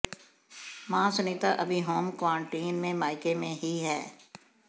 मां सुनीता अभी home quarantine में मायके में ही है